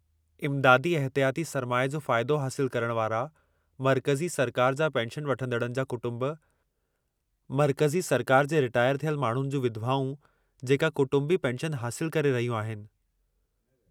इमदादी इहतियाती सरमाए जो फ़ाइदो हासिलु करण वारा मर्कज़ी सरकार जा पेंशन वठंदड़नि जा कुटुंब: मर्कज़ी सरकार जे रिटायर थियल माण्हुनि जूं विधवाऊं जेका कुटुंबी पेंशन हासिलु करे रहियूं आहिनि।